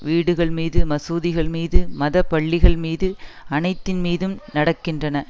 வீடுகள் மீது மசூதிகள் மீது மத பள்ளிகள் மீது அனைத்தின் மீதும் நடக்கின்றன